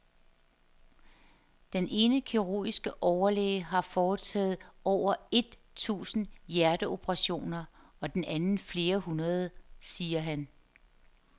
Den ene kirurgiske overlæge har foretaget over et tusind hjerteoperationer og den anden flere hundrede, siger han.